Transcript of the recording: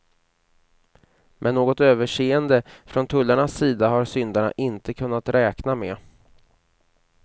Men något överseende från tullarnas sida har syndarna inte kunnat räkna med.